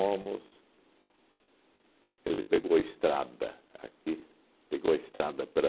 Ele pegou a estrada aqui, pegou a estrada para...